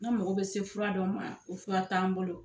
Ne mago bɛ se fura do ma o fura t'an bolo.